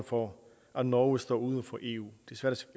for at norge står uden for eu